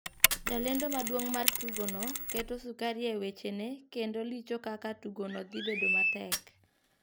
Jalendo maduong mar tugo no keto sukari e weche ne kendo licho kaka tugo no dhi bedo matek.